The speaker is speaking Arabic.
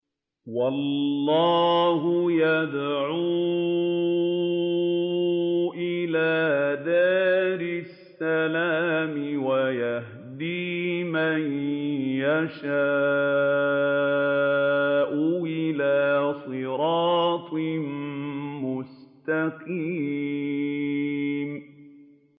وَاللَّهُ يَدْعُو إِلَىٰ دَارِ السَّلَامِ وَيَهْدِي مَن يَشَاءُ إِلَىٰ صِرَاطٍ مُّسْتَقِيمٍ